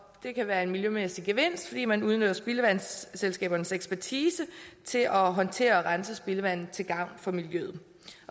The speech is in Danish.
det kan være en miljømæssig gevinst fordi man udnytter spildevandsselskabernes ekspertise til at håndtere og rense spildevandet til gavn for miljøet